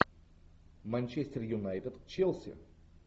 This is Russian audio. манчестер юнайтед челси